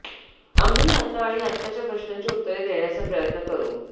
आम्ही आत्ता आणि आत्ताच्या प्रश्नांची उत्तरे देण्याचा प्रयत्न करू